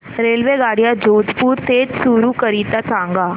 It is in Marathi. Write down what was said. रेल्वेगाड्या जोधपुर ते चूरू करीता सांगा